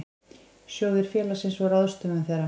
Sjóðir félagsins og ráðstöfun þeirra.